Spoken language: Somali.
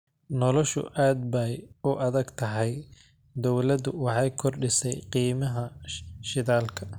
Noloshu aad bay u adag tahay, dawladdu waxay kordhisay qiimihii shidaalka